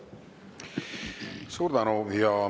Suur tänu!